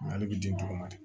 Nka ale bɛ den tɔgɔ ma di